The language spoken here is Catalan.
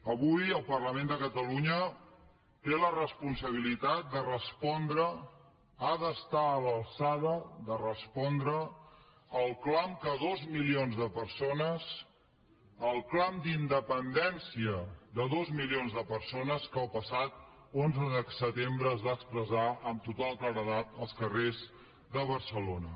avui el parlament de catalunya té la responsabilitat de respondre ha d’estar a l’alçada de respondre el clam de dos milions de persones el clam d’independència de dos milions de persones que el passat onze de setembre es va expressar amb total claredat als carrers de barcelona